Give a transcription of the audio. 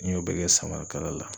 N y'o bɛɛ kɛ samarakala la.